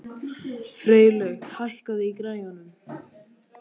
Freylaug, hækkaðu í græjunum.